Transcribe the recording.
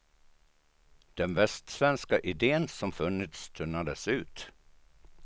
Den västsvenska idén som funnits tunnades ut.